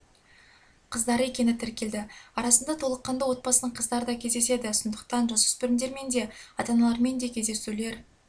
қыздар екені тіркелді арасында толыққанды отбасының қыздары да кездеседі сондықтан жасөспірімдермен де ата-аналармен де кездесулер